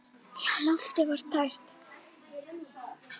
Já, loftið var tært.